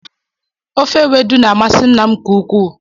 Ofe ewedu na-amasị nna m nke ukwuu